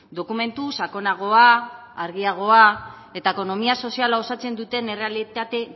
dokumentu sakonagoa argiagoa eta ekonomia soziala osatzen duten errealitate